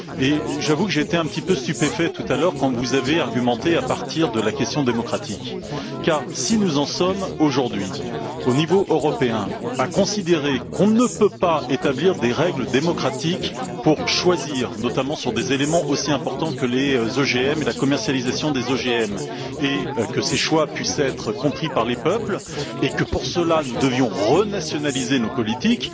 Et j'avoue que j'ai été quelque peu stupéfait tout à l'heure quand, en appui de votre argumentation, vous avez évoqué la question démocratique. Car si nous en sommes aujourd'hui, au niveau européen, à considérer qu'on ne peut pas établir des règles démocratiques pour faire des choix, notamment sur des éléments aussi importants que les OGM et leur commercialisation, et faire en sorte que ces choix puissent être compris par les peuples, et que pour cette raison, nous devrions renationaliser nos politiques,